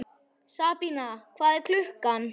Sabína, hvað er klukkan?